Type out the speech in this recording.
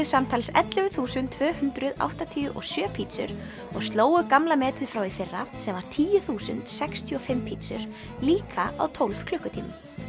samtals ellefu þúsund tvö hundruð áttatíu og sjö pítsur og slógu gamla metið frá því í fyrra sem var tíu þúsund sextíu og fimm pítsur líka á tólf klukkutímum